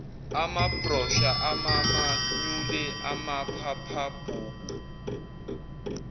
amabhrosha amamanyule amaphaphabhuku